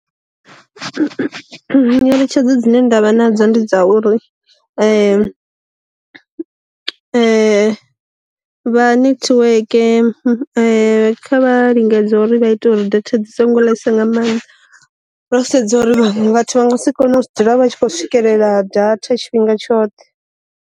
Nyeletshedzo dzine ndavha nadzo ndi dza uri vha nethiweke kha vha lingedza uri vha ite uri data dzi songo ḽesa nga maanḓa, ro sedza uri vhathu vha nga si kone u dzula vha tshi khou swikelela data tshifhinga tshoṱhe.